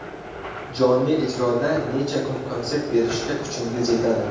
Jonli ijroda necha kun konsert berishga kuchingiz yetadi?